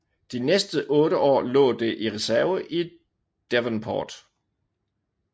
De næste otte år lå det i reserve i Devonport